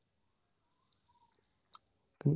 উম